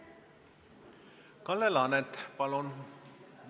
Kalle Laanet, palun!